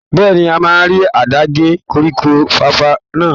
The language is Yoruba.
Bẹ́ẹ̀ni, a máa rí àdá gé koríko fàfà náà.